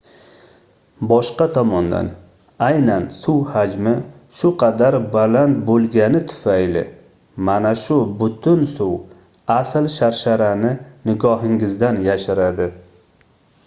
boshqa tomondan aynan suv hajmi shu qadar baland boʻlgani tufayli mana shu butun suv asl sharsharani nigohingizdan yashiradi